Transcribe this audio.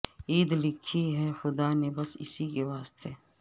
عید لکھی ہے خدا نے بس اسی کے واسطے